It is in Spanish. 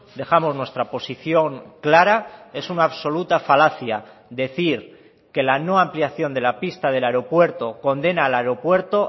dejamos nuestra posición clara es una absoluta falacia decir que la no ampliación de la pista del aeropuerto condena al aeropuerto